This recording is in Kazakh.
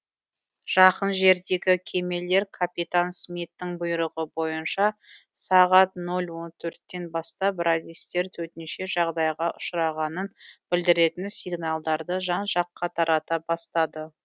жақын жердегі кемелер капитан смиттің бұйрығы бойынша сағат нөл он төрттен бастап радистер төтенше жағдайға ұшырағанын білдіретін сигналдарды жан жаққа тарата бастады